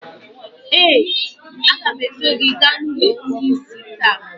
ee, a ga m eso gị gaa n’ụlọ ndị ìsì taa.